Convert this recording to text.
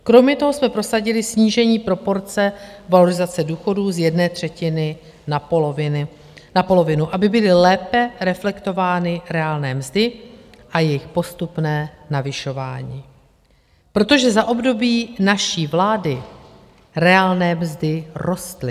Kromě toho jsme prosadili snížení proporce valorizace důchodů z jedné třetiny na polovinu (?), aby byly lépe reflektovány reálné mzdy a jejich postupné navyšování, protože za období naší vlády reálné mzdy rostly.